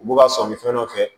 U b'u ka sɔmi fɛn dɔ fɛ